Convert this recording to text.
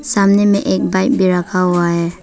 सामने में एक बाइक भी रखा हुआ है।